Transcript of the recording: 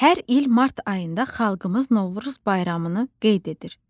Hər il mart ayında xalqımız Novruz bayramını qeyd edir.